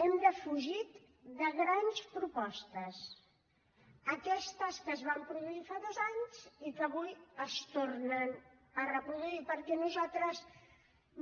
hem defugit de grans propostes aquestes que es van produir fa dos anys i que avui es tornen a reproduir perquè nosaltres